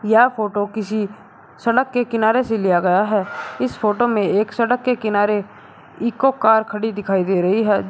यह फोटो किसी सड़क के किनारे से लिया गया है इस फोटो में एक सड़क के किनारे इको कार खड़ी दिखाई दे रही है।